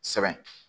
Sɛbɛn